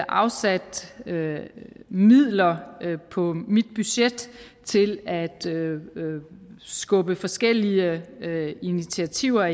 afsat midler på mit budget til at skubbe forskellige initiativer og